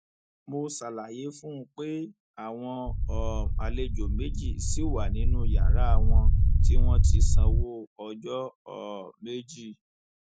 mo ṣàlàyé fún un pé àwọn um àlejò méjì ṣì wà nínú yàrá wọn tí wọn ti sanwó ọjọ um méjì